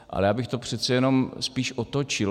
Ale já bych to přece jen spíš otočil.